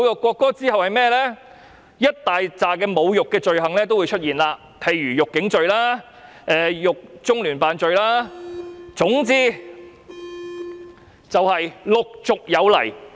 隨之而來會是一大堆侮辱罪行，例如辱警罪或侮辱中聯辦罪，總之是陸續有來。